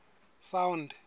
sound